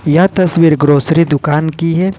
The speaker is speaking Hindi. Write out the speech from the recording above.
यह तस्वीर ग्रोसरी दुकान की है।